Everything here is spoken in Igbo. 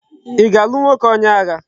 I ga-alu nwoke onye agha?